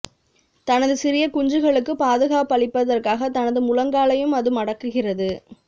தனது சிறிய குஞ்சுகளுக்குப் பாதுகாப்பளிப்பதற்காக தனது முழங்காலையும் அது மடக்குகிறது